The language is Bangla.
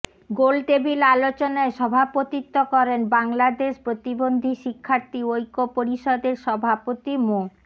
গোলটেবিল আলোচনায় সভাপতিত্ব করেন বাংলাদেশ প্রতিবন্ধী শিক্ষার্থী ঐক্য পরিষদের সভাপতি মো